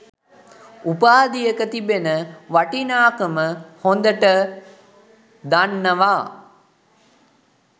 උපාධියක තිබෙන වටිනාකම හොඳට දන්නවා.